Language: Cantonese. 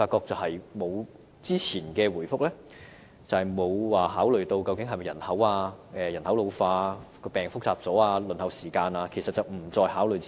但是，政府的回覆沒有考慮到人口老化、疾病越趨複雜、輪候時間等因素，這些因素並不在政府考慮之列。